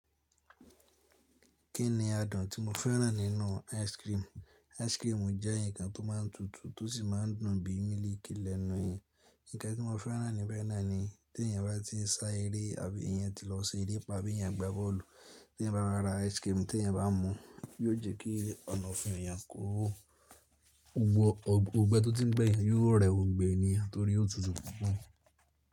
Kí ni adùn tí mo fẹ́ràn nínú ice cream? Ice cream jẹ́ ǹkan tó máa ń tutù tó sì máa ń dùn bíi mílìkì lẹ́nu eẹyan. Ǹkan tí mo fẹ́ràn níbẹ̀ náà ni tí èèyàn bá ti ń sá eré àbí èèyàn ti lọ ṣe eré pàápàá abi eeyàn gba bọ́ọ̀lù, tí ẹ̀eyan bá wa ra ice cream tí ẹ̀eyan bá mú, yiò jẹ́ kí ọ̀nà òfun èèyàn ko Òngbẹ́ tó ti ń gbẹ́ yan yio rẹ gbogbo ni torí o tutù pupọ̀.